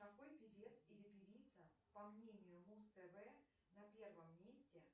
какой певец или певица по мнению муз тв на первом месте